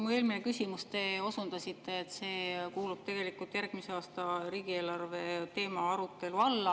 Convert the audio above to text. Mu eelmise küsimuse peale te osundasite, et see teema kuulub tegelikult järgmise aasta riigieelarve arutelu alla.